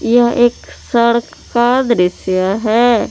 यह एक सड़क का दृश्य है।